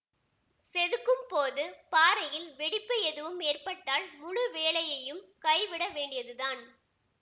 செதுக்கும் போது பாறையில் வெடிப்பு எதுவும் ஏற்பட்டால் முழு வேலையையும் கைவிட வேண்டியதுதான்